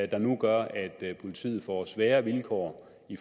der nu gør at politiet får sværere vilkår